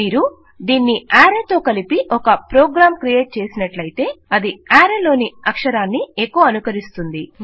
మీరు దీనిని ఆరే తో కలిపి ఒక ప్రోగ్రాం క్రియేట్ చేసినట్లయితే అది ఆరే లోని అక్షరాన్ని ఎకొఅనుకరిస్తుంది